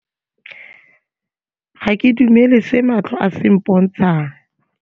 Ga ke dumele se matlho a se mpontshang.